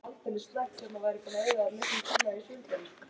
Birgir: Og stríða manni.